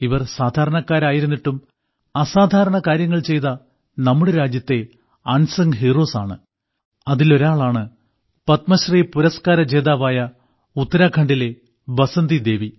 ഇവർ സാധാരണക്കാരായിരുന്നിട്ടും അസാധാരണ കാര്യങ്ങൾ ചെയ്ത നമ്മുടെ രാജ്യത്തെ അൻസങ് ഹീറോസ് ആണ് അതിലൊരാളാണ് പത്മശ്രീ പുരസ്കാര ജേതാവായ ഉത്തരാഖണ്ഡിലെ ബസന്തിദേവി